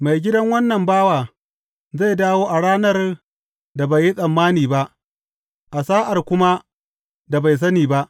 Maigidan wannan bawa zai dawo a ranar da bai yi tsammani ba, a sa’ar kuma da bai sani ba.